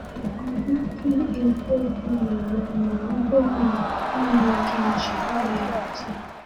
“Ọ naghị ekwu okwu na ha ma ọ bụrụ na ọ naghị eji ihe atụ.”